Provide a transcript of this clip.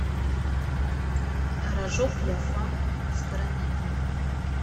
рожок ля фам с карамелью